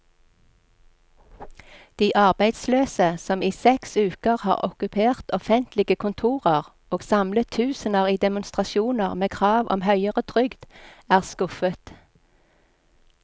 De arbeidsløse, som i seks uker har okkupert offentlige kontorer og samlet tusener i demonstrasjoner med krav om høyere trygd, er skuffet.